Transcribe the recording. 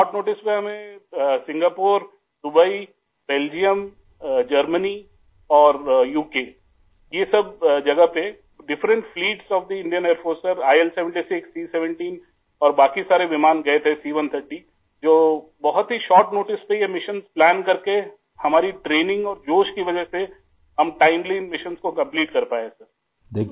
سر مختصر نوٹس کے ساتھ ہمیں ، Singapore, Dubai, Belgium, Germany اور یو کے ، ان سب مقامات پر انڈین ایئر فورس کی مختلف پروازیں ، آئی ایل 76 ، سی 17 ، جو بہت ہی چھوٹے سے نوٹس پر مشن پلان کرکے ہماری ٹریننگ اور جوش کی وجہ سے ، ہم وقت پر ان مشنوں کو مکمل کر سکیں گے